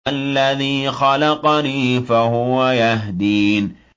الَّذِي خَلَقَنِي فَهُوَ يَهْدِينِ